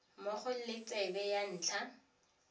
mmogo le tsebe ya ntlha